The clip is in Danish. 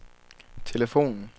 telefonen